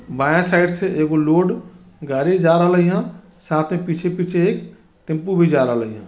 बाये साइड से एक लोड गाड़ी जा रलाईह साथे पीछे पीछे एक टेम्पो भी जा रलाईह ।